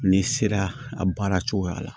N'i sera a baara cogoya la